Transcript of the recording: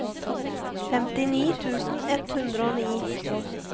femtini tusen ett hundre og ni